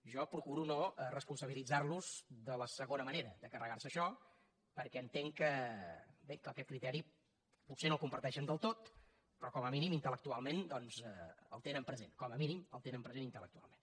jo procuro no responsabilitzarlos de la segona manera de carregarse això perquè entenc que bé que aquest criteri potser no el comparteixen del tot però com a mínim intel·present com a mínim el tenen present intel·lectualment